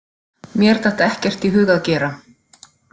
Mér datt ekkert í hug að gera.